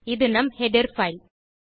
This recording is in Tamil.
இது நம் ஹெடர் பைல்